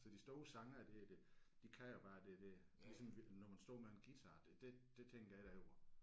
Så de store sangere der det de kan jo bare det der ligesom når man står med en guitar det det det tænker jeg da over